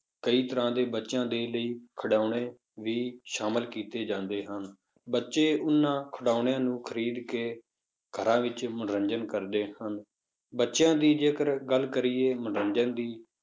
ਕਈ ਤਰ੍ਹਾਂ ਦੇ ਬੱਚਿਆਂ ਦੇ ਲਈ ਖਿਡੌਣੇ ਵੀ ਸ਼ਾਮਲ ਕੀਤੇ ਜਾਂਦੇ ਹਨ, ਬੱਚੇ ਉਹਨਾਂ ਖਿਡੌਣਿਆਂ ਨੂੰ ਖ਼ਰੀਦ ਕੇ ਘਰਾਂ ਵਿੱਚ ਮਨੋਰੰਜਨ ਕਰਦੇ ਹਨ, ਬੱਚਿਆਂ ਦੀ ਜੇਕਰ ਗੱਲ ਕਰੀਏ ਮਨੋਰੰਜਨ ਦੀ